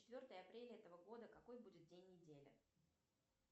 четвертое апреля этого года какой будет день недели